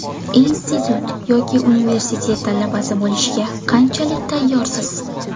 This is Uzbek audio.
Institut yoki universitet talabasi bo‘lishga qanchalik tayyorsiz?